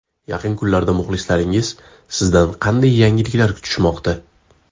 Yaqin kunlarda muxlislaringiz sizdan qanday yangiliklar kutishmoqda?